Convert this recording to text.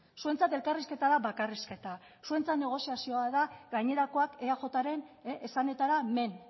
zuentzat elkarrizketa da bakarrizketa zuentzat negoziazioa da gainerakoak eajren esanetara men